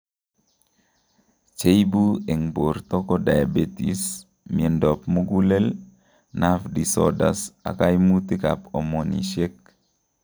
Cheibu eng' borto koo diabetes, miondab mugulel, nerve disoders ak kaimutk ab hormonisiek